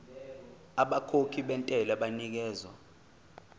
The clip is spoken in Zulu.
abakhokhi bentela banikezwa